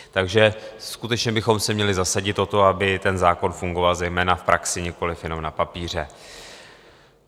Takže skutečně bychom se měli zasadit o to, aby ten zákon fungoval zejména v praxi, nikoliv jenom na papíře.